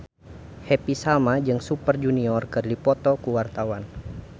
Happy Salma jeung Super Junior keur dipoto ku wartawan